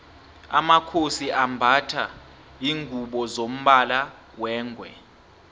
amakhosi ambatha lingubo zombala wengwe